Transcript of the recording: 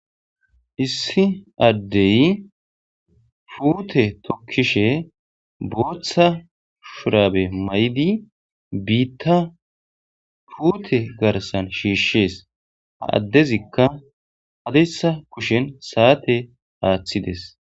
Issi addey fuute tokkishe booththa shurabe may'di biitta fuute garsan shiishshees ha addezikka hadeysa kushen saate aaththides